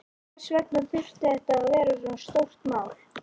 Hvers vegna þurfti þetta að vera svona stórt mál?